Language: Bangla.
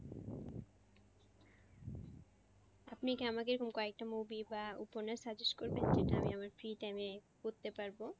আপনি কি আমাকে এরকম কয়েকটা movie বা উপন্যাস suggest করবেন যেটা আমি আমার free time পরতে পারবো।